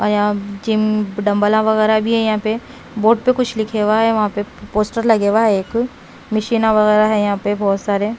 और यहाँ gym dumbbell वगैरह भी हैं यहाँ पे बोर्ड पे कुछ लिखे हुआ है वहाँ पे पोस्टर लगे हुआ है एक मशीना वगैरह है यहाँ पे बहुत सारे।